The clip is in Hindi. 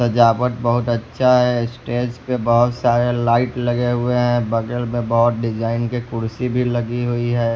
सजावट बहुत अच्छा है स्टेज पे बहुत सारे लाइट लगे हुए हैं बगल में बहुत डिजाइन के कुर्सी भी लगी हुई है।